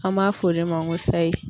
An m'a f'o de ma ko sayi.